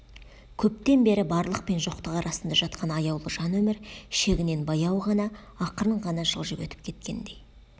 көптен бері барлық пен жоқтық арасында жатқан аяулы жан өмір шегінен баяу ғана ақырын ғана жылжып өтіп кеткендей